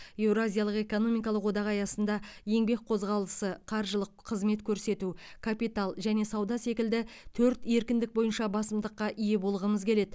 еуразиялық экономикалық одақ аясында еңбек қозғалысы қаржылық қызмет көрсету капитал және сауда секілді төрт еркіндік бойынша басымдыққа ие болғымыз келеді